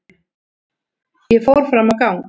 Ég fór fram á gang.